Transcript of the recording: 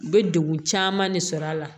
U bɛ degun caman de sɔrɔ a la